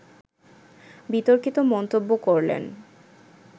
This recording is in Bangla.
বিতর্কিত মন্তব্য করলেন